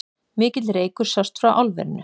Mikill reykur sást frá álverinu